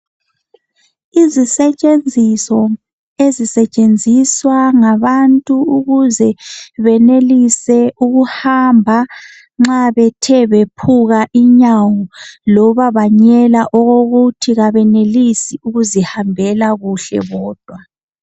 Izisetshenziso ezisetshenziswa ngabantu ukuze benelise ukuhamba nxa bethe bephuka inyawo kumbe banyela okokuthi kabenelisi ukuzihambela bodwa.